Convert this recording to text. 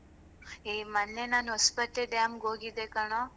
ಏ ಮೊನ್ನೆ ನಾನು ಹೊಸ್ಪೇಟೆ dam ಗೆ ಹೋಗಿದ್ದೆ ಕಣೊ.